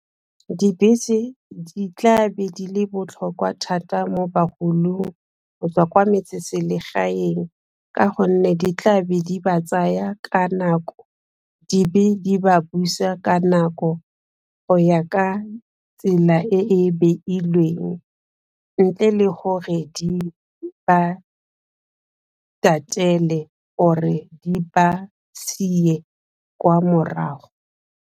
Dibese di tla be di le botlhokwa thata mo bagolong go tswa kwa metseselegaeng ka gonne di tla be di ba tsaya ka nako, di be di ba busa ka nako go ya ka tsela e e beilweng ntle le gore di ba tatele or di ba siye kwa morago.